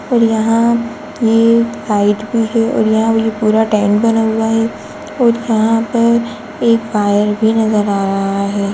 और यहाँ ये लाइट भी है और यहाँ ये पूरा टेंट बना हुआ है और यहाँ पर एक वायर भी नज़र आ रहा है।